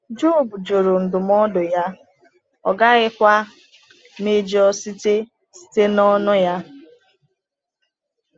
Jọb jụrụ ndụmọdụ ya, ọ gaghịkwa “mejọ site site n’ọnụ ya.”